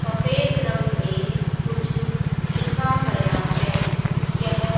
सफेद रंग में कुछ लिखा गया है यह--